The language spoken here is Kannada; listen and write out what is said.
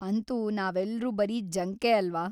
ಅಂತೂ ನಾವೆಲ್ರೂ ಬರೀ ಜಂಕೇ ಅಲ್ವ?